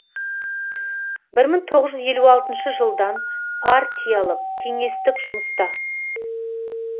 бір мың тоғыз жүз елу алтыншы жылдан партиялық кеңестік жұмыста